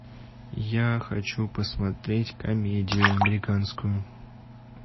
я хочу посмотреть комедию американскую